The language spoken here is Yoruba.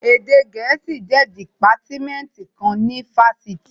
Èdè gẹ̀ẹ́sì jẹ́ dìpátímẹ́ǹtì kan ní ifásitì